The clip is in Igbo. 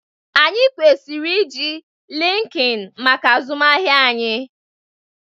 Anyị kwesịrị iji linkin maka azụmahịa anyị